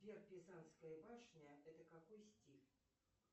сбер пизанская башня это какой стиль